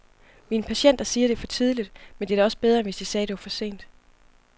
Mine patienter siger det er for tidligt, men det er da også bedre, end hvis de sagde det var for sent.